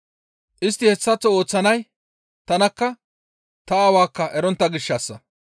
Istti hessaththo ooththizay tanakka, ta Aawaakka erontta gishshassa.